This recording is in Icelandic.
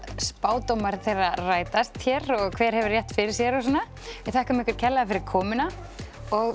spádómar þeirra rætast hér og hver hefur rétt fyrir sér og svona við þökkum kærlega fyrir komuna og